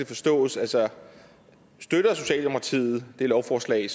forstås altså støtter socialdemokratiet det lovforslag